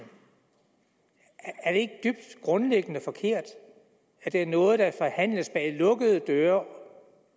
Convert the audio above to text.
er det ikke grundlæggende dybt forkert at det er noget der forhandles lukkede døre